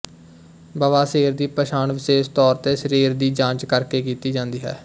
ਬਵਾਸੀਰ ਦੀ ਪਛਾਣ ਵਿਸ਼ੇਸ ਤੌਰ ਤੇ ਸਰੀਰ ਦੀ ਜਾਂਚ ਕਰਕੇ ਕੀਤੀ ਜਾਂਦੀ ਹੈ